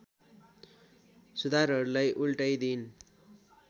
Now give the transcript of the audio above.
सुधारहरुलाई उल्टाइदिइन्